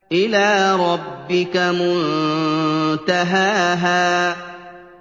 إِلَىٰ رَبِّكَ مُنتَهَاهَا